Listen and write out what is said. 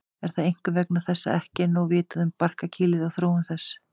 Er það einkum vegna þess að ekki er nóg vitað um barkakýlið og þróun þess.